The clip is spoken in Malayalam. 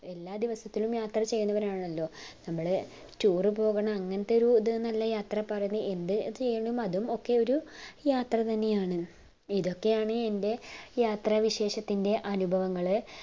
എല്ലാ ദിവസത്തിലും യാത്ര ചെയ്യാന്നവാരാണല്ലോ നമ്മള് tour പോകുന്ന അങ്ങനെത്തെ ഒരു ഇത് അല്ല യാത്ര പറയുന്നത് അതൊക്കെയും ഒരു യാത്ര തന്നെയാണ് ഇതൊക്കെയാണ് എന്റെ യാത്ര വിശേഷത്തിന്റെ അനുഭവങ്ങള്